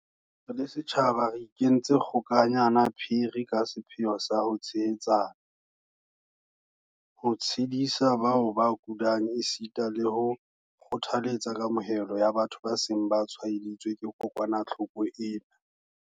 Re le setjhaba re ikentse kgo-kanyana phiri ka sepheo sa ho tshehetsana, ho tshedisa bao ba kulang esita le ho kgothaletsa kamohelo ya batho ba seng ba tshwaeditswe ke kokwanahloko ena.